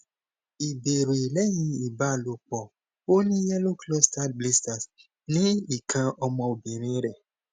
ìbéèrè lẹyìn ìbálòpọ ó ní yellow clustered blisters ni ikan omo obirin re